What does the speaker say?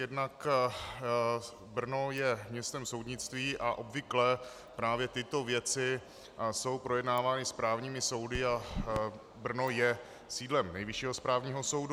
Jednak Brno je městem soudnictví a obvykle právě tyto věci jsou projednávány správními soudy a Brno je sídlem Nejvyššího správního soudu.